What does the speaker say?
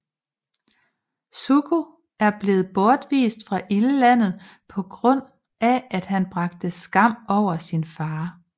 Zuko er blevet bortvist fra Ildlandet på grund af han bragte skam over sin far